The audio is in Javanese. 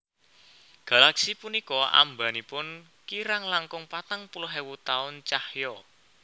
Galaksi punika ambanipun kirang langkung patang puluh ewu taun cahya